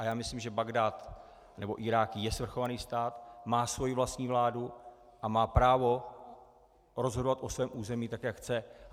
A já myslím, že Bagdád, nebo Irák je svrchovaný stát, má svoji vlastní vládu a má právo rozhodovat o svém území, tak jak chce.